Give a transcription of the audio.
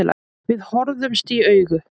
Við horfðumst í augu.